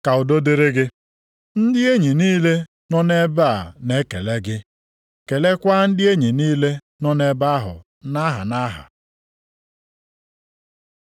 Ka udo dịrị gị. Ndị enyi niile nọ nʼebe a na-ekele gị. Kelekwa ndị enyi niile nọ nʼebe ahụ nʼaha nʼaha.